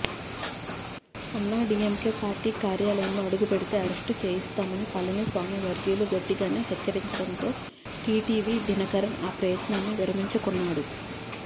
AIADMK party కార్యాలయంలో అడుగుపెడితే arrest చేయిస్తామని పళనిసామి వర్గీయులు గట్టిగానే హెచ్చరించడంతో టీటీవీ దినకరన్ ఆ ప్రయత్నాన్ని విరమించుకున్నాడు